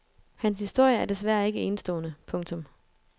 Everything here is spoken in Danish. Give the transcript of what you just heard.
Hans historie er desværre ikke enestående. punktum